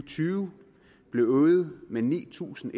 tyve blev øget med ni tusind